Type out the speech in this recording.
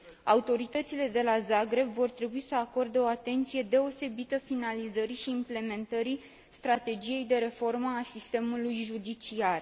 Autoritățile de la Zagreb vor trebui să acorde o atenție deosebită finalizării și implementării strategiei de reformă a sistemului judiciar.